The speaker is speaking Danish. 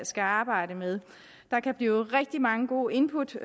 skal arbejde med der kan blive rigtig mange gode input